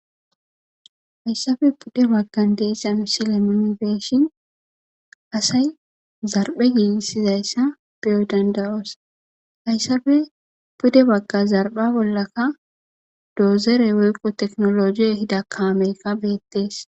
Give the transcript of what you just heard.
hayssafe pudde baggan deessan silemionebeeshin asay zarbhe giigissizayssa beyo dandayoosa hayssafe pude bagga zarba bollakka doozere woyqo teknolojiy hidakaamekka beettees